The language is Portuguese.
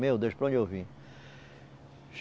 Meu Deus, para onde eu vim?